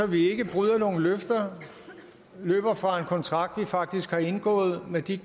vi ikke bryder nogen løfter løber fra en kontrakt som vi faktisk har indgået med de